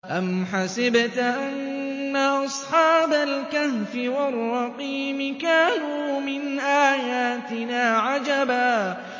أَمْ حَسِبْتَ أَنَّ أَصْحَابَ الْكَهْفِ وَالرَّقِيمِ كَانُوا مِنْ آيَاتِنَا عَجَبًا